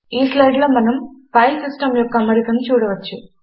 ఈ స్లైడులో మనము ఫైల్ సిస్టం యొక్క అమరికను చూడవచ్చు